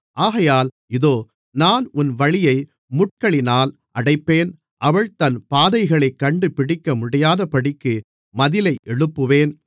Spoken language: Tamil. ஆகையால் இதோ நான் உன் வழியை முட்களினால் அடைப்பேன் அவள் தன் பாதைகளைக் கண்டுபிடிக்கமுடியாதபடிக்கு மதிலை எழுப்புவேன்